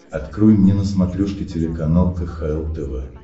открой мне на смотрешке телеканал кхл тв